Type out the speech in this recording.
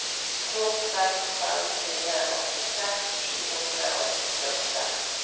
to seks fem fire åttiseks sju hundre og syttiåtte